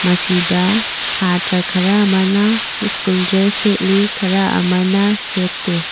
ꯃꯁꯤꯗ ꯁꯇ꯭ꯔꯥ ꯈꯔ ꯑꯃꯅ ꯁ꯭ꯀꯨꯜ ꯗ꯭ꯔꯦꯁ ꯁꯦꯠꯂꯤ ꯈꯔ ꯑꯃꯅ ꯁꯦꯠꯇꯦ꯫